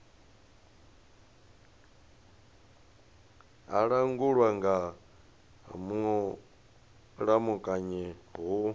a langulwa nga mulamukanyi hu